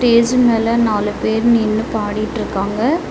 Stage மேல நாலு பேர் நின்னு பாடிட்டிருக்காங்க.